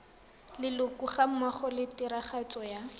leloko gammogo le tiragatso ya